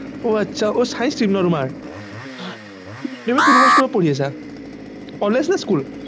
অ আচ্ছা অ science stream ন তোমাৰ সেইটো কোনখন school ৰ পৰা পঢ়ি আছা college নে school